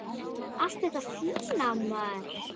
Allt þetta fína, maður.